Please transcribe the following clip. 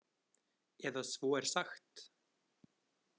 Eða svo er sagt.